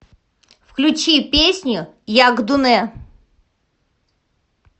включи песню якдуне